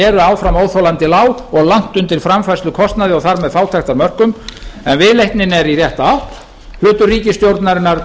eru áfram óþolandi lág og langt undir framfærslukostnaði og þar með fátæktarmörkum en viðleitnin er í rétta átt hlutur ríkisstjórnarinnar